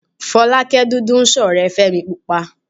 Fọlákẹ́mi dúdú ń ṣọ̀rẹ́ Fẹ́mi púpa